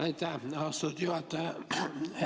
Aitäh, austatud juhataja!